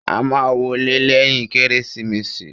A máa wọlé lẹ́yìn Kérésìmesì.